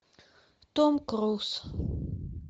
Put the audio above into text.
том круз